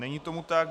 Není tomu tak.